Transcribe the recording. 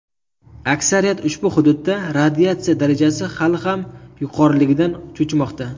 Aksariyat ushbu hududda radiatsiya darajasi hali ham yuqoriligidan cho‘chimoqda.